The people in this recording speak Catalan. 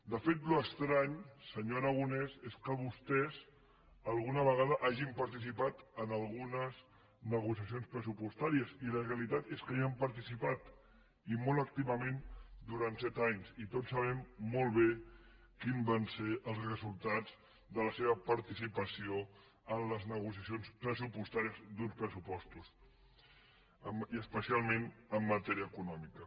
de fet allò estrany senyor aragonès és que vostès alguna vegada hagin participat en algunes negociacions pressupostàries i la realitat és que hi han participat i molt activament durant set anys i tots sabem molt bé quins van ser els resultats de la seva participació en les negociacions pressupostàries d’uns pressupostos i especialment en matèria econòmica